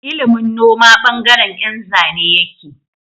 Ilimin noma bangaren Yan Zane yake